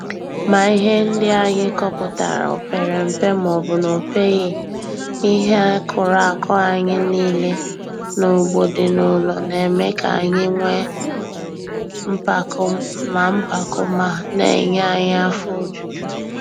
Ma ihe ndị anyị kọpụtara o pere mpe maọbụ na opeghi, ihe akụrụ akụ anyị niile n'ugbo dị n'ụlọ na-eme ka anyị nwee mpako ma mpako ma na-enye anyị afọ ojuju.